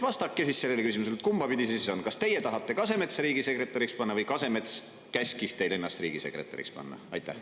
Vastake siis sellele küsimusele, et kumba pidi on: kas teie tahate Kasemetsa riigisekretäriks panna või Kasemets käskis teil ennast riigisekretäriks panna?